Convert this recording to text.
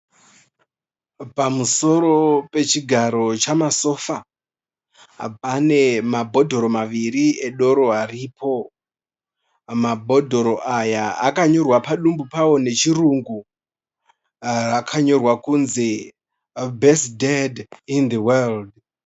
Pamusoro pechigaro chamasofa. Pane mabhodhoro maviri edoro aripo. Mabhodhoro aya akanyorwa padumbu pavo nechirungu, akanyorwa kunzi 'Best dad in the world'.